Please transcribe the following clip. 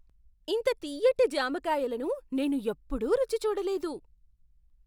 ఇంత తియ్యటి జామకాయలను నేను ఎప్పుడూ రుచి చూడలేదు!